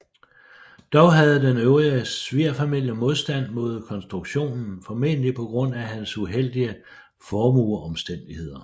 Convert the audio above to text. Dog havde den øvrige svigerfamilie modstand mod konstruktionen formentlig på grund af hans uheldige formueomstændigheder